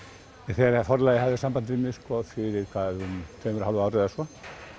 þegar Forlagið hafði samband við mig fyrir tveimur og hálfu ári eða svo